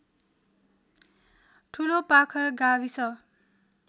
ठुलोपाखर गाविस